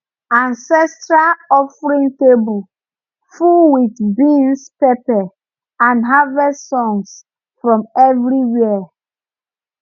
ancestral offering table full with beans pepper and harvest songs from everywhere